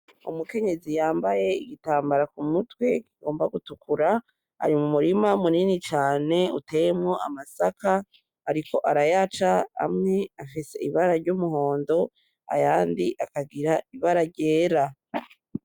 Umukenyezi yambaye igitambara kumutwe kigomba gutukura ari mumurima munini cane uteyemwo amasaka ariko arayaca amwe afise ibara ryumuhondo ayandi akagira ibara ryera.